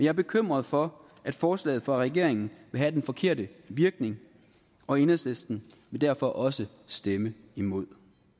er bekymret for at forslaget fra regeringen vil have den forkerte virkning og enhedslisten vil derfor også stemme imod